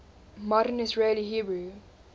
modern israeli hebrew